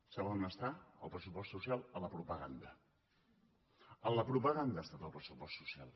saben on està el pressupost social en la propaganda en la propaganda ha estat el pressupost social